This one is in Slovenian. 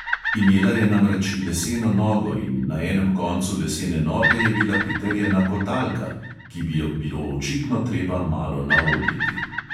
Imela je namreč leseno nogo in na enem koncu lesene noge je bila pritrjena kotalka, ki bi jo bilo očitno treba malo naoljiti.